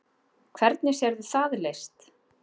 Hvernig sérðu það leyst?